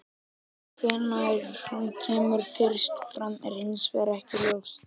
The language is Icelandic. Hvenær hún kemur fyrst fram er hins vegar ekki ljóst.